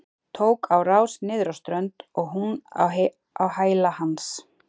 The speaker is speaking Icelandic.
Tók á rás niður á strönd og hún á hæla hans.